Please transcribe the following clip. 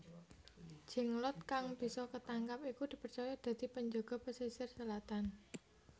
Jenglot kang bisa ketangkap iku dipercaya dadi penjaga pasisir selatan